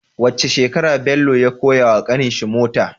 Wacce shekarar Bello ya koya wa ƙanin shi mota